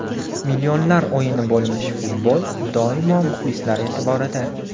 Millionlar o‘yini bo‘lmish futbol, doimo muxlislar e’tiborida.